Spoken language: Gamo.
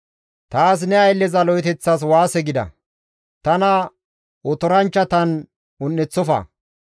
Taas ne aylleza lo7eteththas waase gida; tana otoranchchatan un7eththofa.